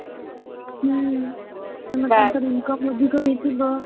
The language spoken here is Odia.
ହୁଁ ତାଙ୍କ ପଇସରେ income ଅଧିକ ହେଇଥିବ।